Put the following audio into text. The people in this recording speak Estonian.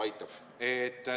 Aitab.